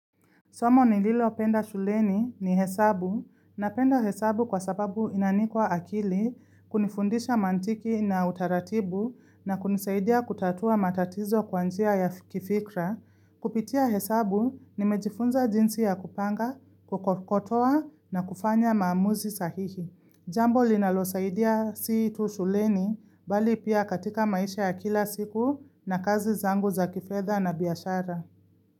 Somo ni lilo penda shuleni ni hesabu na penda hesabu kwa sababu inanikwa akili kunifundisha mantiki na utaratibu na kunisaidia kutatua matatizo kwanjia ya kifikra. Kupitia hesabu ni mejifunza jinsi ya kupanga, kukotoa na kufanya maamuzi sahihi. Jambo linalo saidia siitu shuleni bali pia katika maisha ya kila siku na kazi zangu za kifedha na biashara.